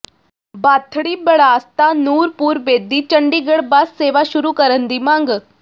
ਬਾਥੜੀ ਬਰਾਸਤਾ ਨੂਰਪੁਰ ਬੇਦੀ ਚੰਡੀਗੜ੍ਹ ਬੱਸ ਸੇਵਾ ਸ਼ੁਰੂ ਕਰਨ ਦੀ ਮੰਗ